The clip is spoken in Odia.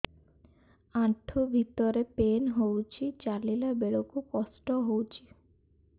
ଆଣ୍ଠୁ ଭିତରେ ପେନ୍ ହଉଚି ଚାଲିଲା ବେଳକୁ କଷ୍ଟ ହଉଚି